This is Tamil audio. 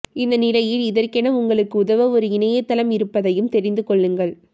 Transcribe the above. இந்த நிலையில் இதற்கென உங்களுக்கு உதவ ஒரு இணையதளம் இருப்பதையும் தெரிந்து கொள்ளுங்கள்